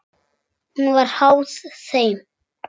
Hún var háð þeim.